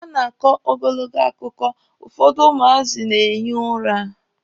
A na-akọ ogologo akụkọ, ụfọdụ ụmụazị a na-ehi ụra.